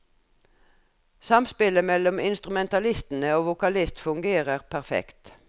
Samspillet mellom instrumentalistene og vokalist fungerer perfekt.